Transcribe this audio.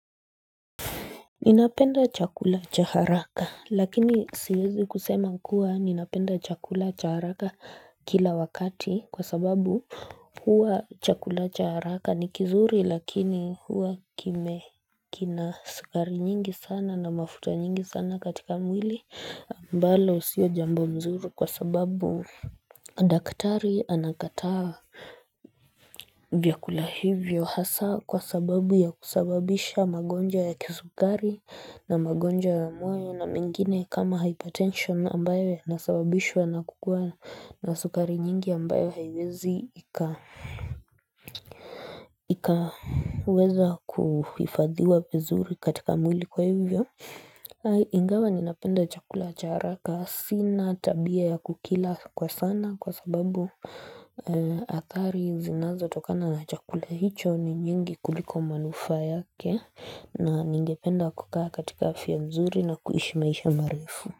Ninapenda chakula cha haraka lakini siwezi kusema kuwa ninapenda chakula cha haraka kila wakati kwa sababu huwa chakula cha haraka ni kizuri lakini huwa kime kina sukari nyingi sana na mafuta nyingi sana katika mwili ambalo usio jambo mzuru kwa sababu Daktari anakataa vyakula hivyo hasa kwa sababu ya kusababisha magonja ya kisukari na magonja ya moyo na mengine kama hypertension ambayo ya nasababishwa na kukua na sukari nyingi ambayo haywezi ikaweza kufafadhiwa vizuri katika mwili kwa hivyo Ingawa ni napenda chakula cha haraka. Sina tabia ya kukila kwa sana kwa sababu atari zinazo tokana na chakula hicho ni nyingi kuliko manufa yake na ningependa kukaa katika afya mzuri na kuishi maisha marifu.